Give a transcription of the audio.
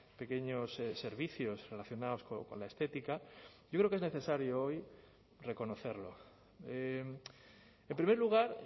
pequeños servicios relacionados con la estética yo creo que es necesario hoy reconocerlo en primer lugar